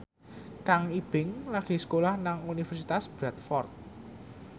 Kang Ibing lagi sekolah nang Universitas Bradford